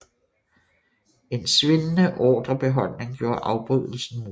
En svindende ordrebeholdning gjorde afbrydelsen mulig